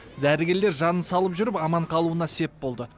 дәрігерлер жанын салып жүріп аман қалуына сеп болды